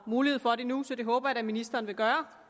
mulighed for det nu så det håber jeg da at ministeren vil gøre